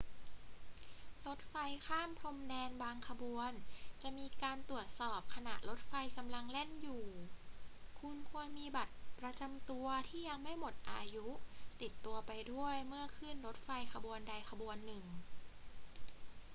รถไฟข้ามพรมแดนบางขบวนจะมีการตรวจสอบขณะรถไฟกำลังแล่นอยู่ คุณควรมีบัตรประจำตัวที่ยังไม่หมดอายุติดตัวไปด้วยเมื่อขึ้นรถไฟขบวนใดขบวนหนึ่ง